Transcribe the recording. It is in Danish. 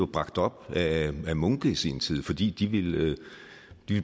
bragt op af munke i sin tid fordi de ville